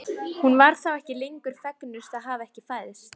Hún var þá ekki lengur fegnust að hafa ekki fæðst.